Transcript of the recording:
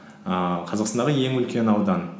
ііі қазақстандағы ең үлкен аудан